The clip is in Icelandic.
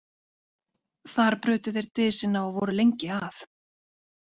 Þar brutu þeir dysina og voru lengi að.